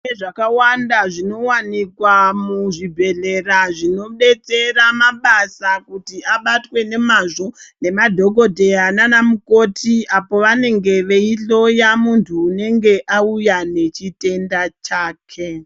Kune zvakawanda zvinowanikwa muzvibhedhlera zvinobetsera mabasa kuti abatwe nemazvo nemadhokodheya nana mukoti apo pavanenge veihloya muntu unenge auya nechitenda chake.